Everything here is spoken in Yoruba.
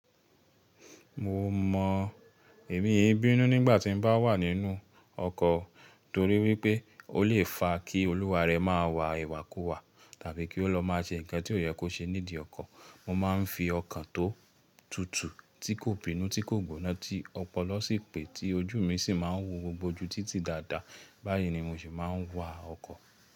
Mo mọ èmi í bínú nígbà tí n bá wà nínú ọkọ̀ torí wípé ó lè fa kí olúwa rẹ máa wà ìwàkúwà tàbí kí ó lọ má a ṣe ǹkan tí ó yẹ kò ṣe nídìí ọkọ̀. Mo máa ń fi ọkàn tó tutù tí kò bínú tí kò gbóná tí ọpọlọ sì pé, tí ojú mi sì ń ma ń wo gbogbo ojú títí dáadáa. Báyìí ni mo ṣe máa ń wa ọkọ̀.